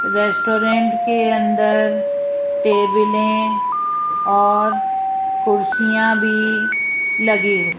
restaurant के अंदर टेबिलें और कुर्सियां भी लगी हुई--